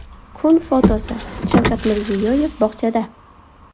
Kun fotosi: Shavkat Mirziyoyev bog‘chada.